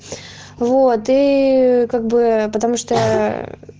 воды как бы потому что